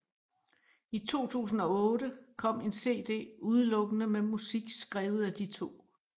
I 2008 kom en cd udelukkende med musik skrevet af de to